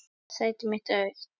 Sæti mitt er autt.